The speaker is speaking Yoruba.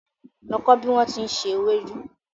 Lọ kọ́ bí wón ti ń se ewédú!